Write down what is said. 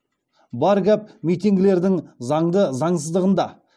бар гәп митингілердің заңды заңсыздығында